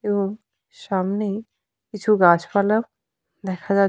এবং সামনেই কিছু গাছ পালা দেখা যাচ্--